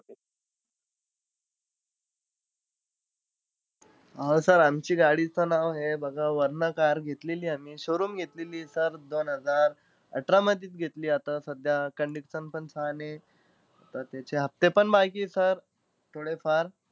अं sir आमची गाडीचं नाव आहे बघा, varna car घेतलेलीय आम्ही. Showroom घेतलेलीय sir. दोन हजार अठरामधेचं घेतलीय. आता सध्या condition पण छान आहे. त्याचे हफ्ते पण बाकी आहे sir थोडेफार,